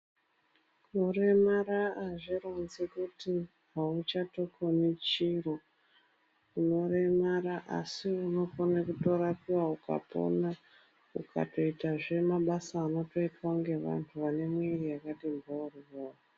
Kuremara azvironzi kuti auchatokoni chiro. Muntu unoremara asi unokone kutorapiwawo, ukapona ukatoitezve mabasa anotoitwa ngevantu vane miviri yakati mhoryo.